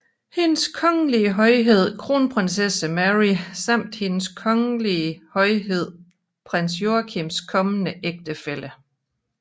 Hendes Kongelige Højhed Kronprinsesse Mary samt Hendes Kongelige Højhed Prins Joachims kommende ægtefælle frk